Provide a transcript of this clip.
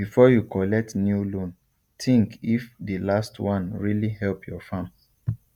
before you collect new loan think if the last one really help your farm